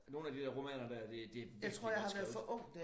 Nogle af de der romaner der det det virkelig godt skrevet